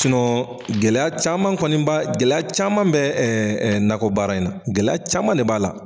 Sinɔ gɛlɛya caman kɔniba gɛlɛya caman bɛ ɛ ɛ nakɔ baara in na gɛlɛya caman de b'a la